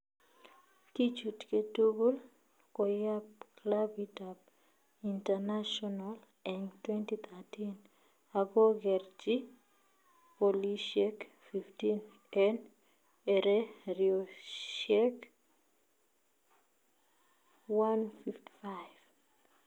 kichutkeee tugull koyap klapit ap Internacional en 2013 agogerchi golisiek 15 en ereriosiek 155